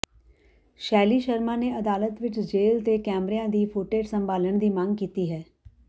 ਸ਼ੈਲੀ ਸ਼ਰਮਾ ਨੇ ਅਦਾਲਤ ਵਿੱਚ ਜੇਲ੍ਹ ਦੇ ਕੈਮਰਿਆਂ ਦੀ ਫੁਟੇਜ਼ ਸੰਭਾਲਣ ਦੀ ਮੰਗ ਕੀਤੀ ਹੈ